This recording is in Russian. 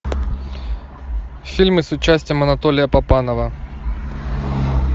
фильмы с участием анатолия папанова